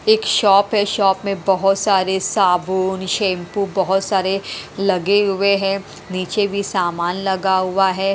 एक शॉप है शॉप में बहोत सारे साबुन शैंपू बहोत सारे लगे हुए है नीचे भी समान लगा हुआ है।